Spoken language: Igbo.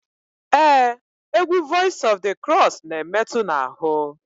Ee egwu Voice of the Cross n'emetu n'ahụ.